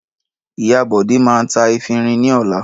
Ìyà Bọ̀dé máa ń ta efirin ní ọjà.